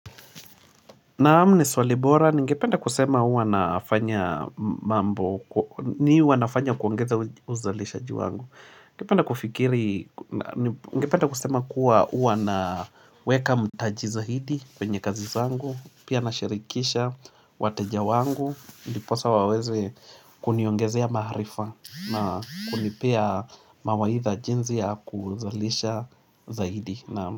Naam, ni swali bora, ningependa kusema huwa nafanya mambo, nini huwa nafanya kuongeza uzalishaji wangu? Ningependa kufikiri, ningependa kusema kuwa huwa naweka mtaji zaidi kwenye kazi za wangu, pia nashirikisha wateja wangu, ndiposa waweze kuniongezea maarifa na kunipea mawaidha jinsi ya kuzalisha zaidi.